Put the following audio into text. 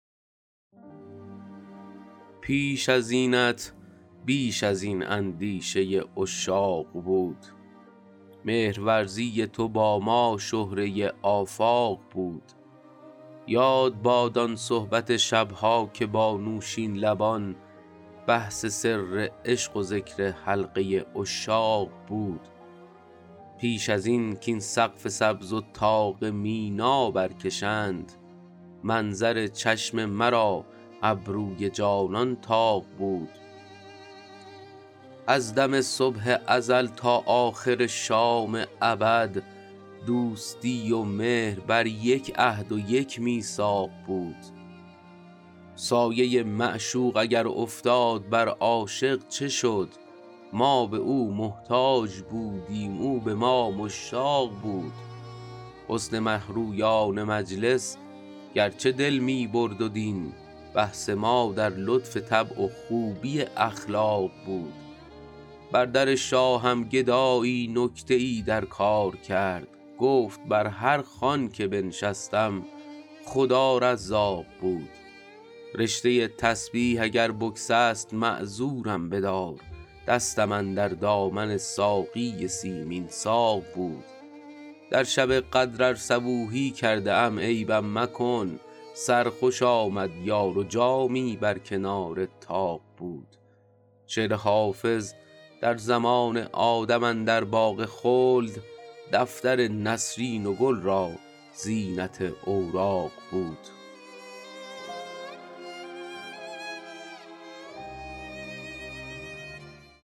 پیش از اینت بیش از این اندیشه عشاق بود مهرورزی تو با ما شهره آفاق بود یاد باد آن صحبت شب ها که با نوشین لبان بحث سر عشق و ذکر حلقه عشاق بود پیش از این کاین سقف سبز و طاق مینا برکشند منظر چشم مرا ابروی جانان طاق بود از دم صبح ازل تا آخر شام ابد دوستی و مهر بر یک عهد و یک میثاق بود سایه معشوق اگر افتاد بر عاشق چه شد ما به او محتاج بودیم او به ما مشتاق بود حسن مه رویان مجلس گرچه دل می برد و دین بحث ما در لطف طبع و خوبی اخلاق بود بر در شاهم گدایی نکته ای در کار کرد گفت بر هر خوان که بنشستم خدا رزاق بود رشته تسبیح اگر بگسست معذورم بدار دستم اندر دامن ساقی سیمین ساق بود در شب قدر ار صبوحی کرده ام عیبم مکن سرخوش آمد یار و جامی بر کنار طاق بود شعر حافظ در زمان آدم اندر باغ خلد دفتر نسرین و گل را زینت اوراق بود